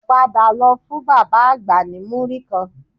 Padà lọ fún bàbá àgbà ní múrí kan